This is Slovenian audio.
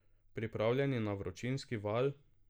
Pripravljeni na vročinski val?